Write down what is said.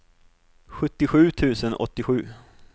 sjuttiosju tusen åttiosju